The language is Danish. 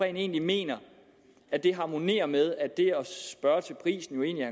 egentlig mener at det harmonerer med at det at spørge til prisen jo egentlig